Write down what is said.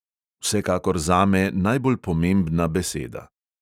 Vsekakor zame najbolj pomembna beseda.